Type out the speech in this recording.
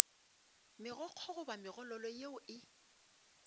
megokgo goba megololo yeo e